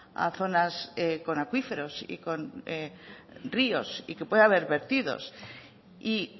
a zonas con acuíferos y con ríos y que puede haber vertidos y